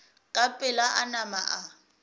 ka pela a nama a